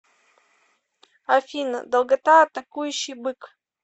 афина долгота атакующий бык